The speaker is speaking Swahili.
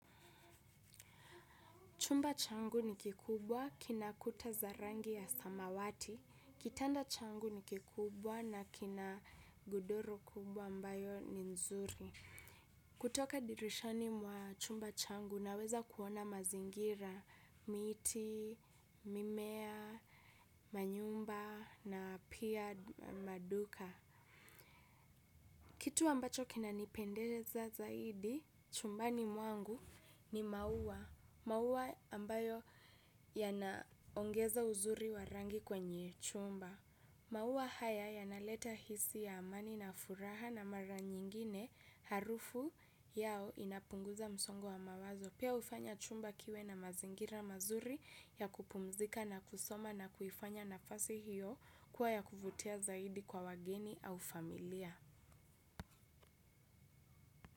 Chumba changu ni kikubwa, kina kuta za rangi ya samawati, kitanda changu ni kikubwa na kina godoro kubwa ambayo ni nzuri. Kutoka dirishani mwa chumba changu naweza kuona mazingira, miti, mimea, manyumba na pia maduka. Kitu ambacho kina nipendeza zaidi chumbani mwangu ni maua. Maua ambayo yanaongeza uzuri wa rangi kwenye chumba. Maua haya yanaleta hisia, amani na furaha na mara nyingine harufu yao inapunguza msongo wa mawazo. Pia hufanya chumba kiwe na mazingira mazuri ya kupumzika na kusoma na kuifanya nafasi hiyo kuwa ya kuvutia zaidi kwa wageni au familia.